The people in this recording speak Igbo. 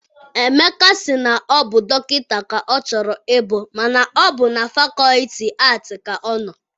Emeka si na ọ bụ dọkịta ka ọ chọrọ I bụ mana ọ bụ na fakọlti aatị ka ọ nọ.